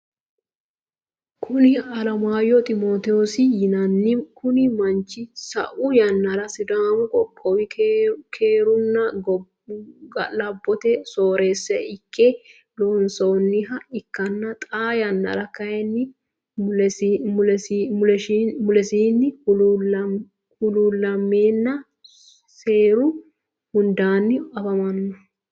Kuni alemaayyo ximootosi yinanni, kuni manchi sa'u yanara sidaamu qoqowi keerunna ga'labotte sooreessa ikke loosinoha ikkanna xaa yanara kayini mu'ishunni hulu'lameenna seeru hundaanni afamanno